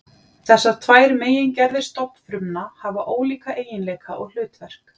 Þessar tvær megingerðir stofnfrumna hafa ólíka eiginleika og hlutverk.